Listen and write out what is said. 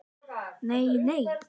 Nei, nei?